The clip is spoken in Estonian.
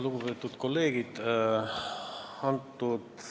Lugupeetud kolleegid!